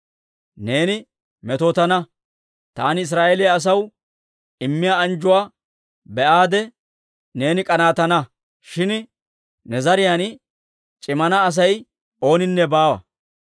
Neeni metootana; taani Israa'eeliyaa asaw immiyaa anjjuwaa be'aade neeni k'anaatana; shin ne zariyaan c'imana Asay ooninne baawa.